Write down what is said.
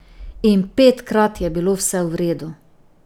In petkrat je bilo vse v redu.